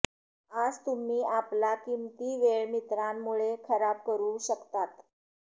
आज तुम्ही आपला किमती वेळ मित्रांमुळे खराब करू शकतात